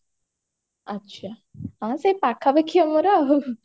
ଆଛା ହଁ ସେଇ ପାଖାପାଖି ଆମର ଆଉ